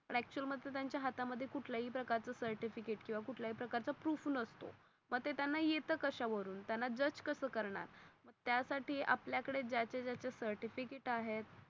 पण अक्चुअल मध्ये त्यांच्या हाता मध्ये कुटल्या ही प्रकार च सर्टिफिकेट कीवा कुटल्या ही प्रकार च प्रुफ नसत. मग ते त्यांना येत कशा वरून त्यांना जज कस कर नार त्या साठी आपल्या कढे ज्याचे ज्याचे सर्टिफिकेट आहेत.